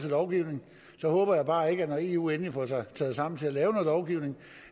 lovgivning så håber jeg bare ikke når eu endelig får sig taget sammen til at lave noget lovgivning